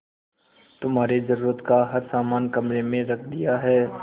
तुम्हारे जरूरत का हर समान कमरे में रख दिया है